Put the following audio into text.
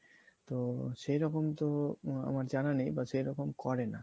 তো সেইরকম তো আমার জানা নাই বা সেই রকম করে না